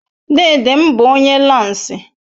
Dedem bu onye lansi